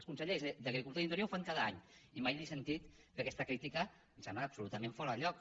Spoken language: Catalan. els consellers d’agricultura i d’interior ho fan cada any i mai li he sentit fer aquesta crítica que em sembla absolutament fora de lloc